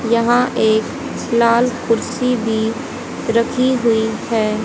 यहां एक लाल कुर्सी भी रखी हुई है।